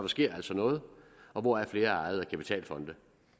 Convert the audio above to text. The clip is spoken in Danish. sker altså noget hvoraf flere er ejet af kapitalfonde